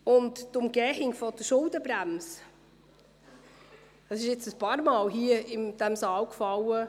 Zur Umgehung der Schuldenbremse – dies ist in diesem Saal ein paarmal gefallen.